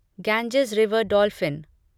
Ganges river dolphin